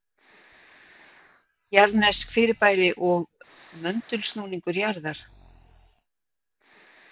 Jarðnesk fyrirbæri og möndulsnúningur jarðar